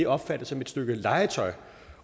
opfattet som et stykke legetøj